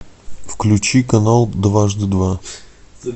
включи канал дважды два